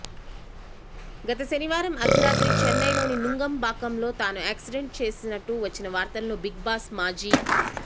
గత శనివారం అర్థరాత్రి చెన్నైలోని నుంగంబాక్కంలో తాను యాక్సిడెంట్ చేసినట్టు వచ్చిన వార్తలను బిగ్ బాస్ మాజీ